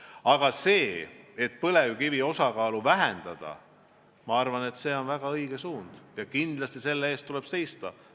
Aga see, et põlevkivi osakaalu vähendada, on väga õige suund ja kindlasti selle eest tuleb seista.